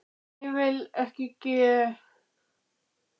Það sem ég vil geri ég ekki